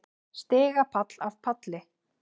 Stigapall af palli.